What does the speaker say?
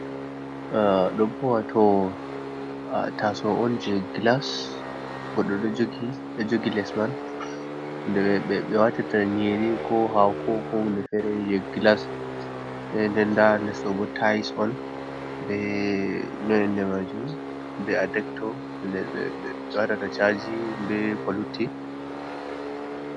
Ah Ɗobo wato a taso'on je gilas, Godɗo ɗon jogi Lesman, nde ɓe watirta Nyeri ko hako ko hunde Fere je glas, nden ndatabo Lesɗobo tayis'on be no Inde majumm be Adecto ɓeɓe Waɗata chaji be ko lutti.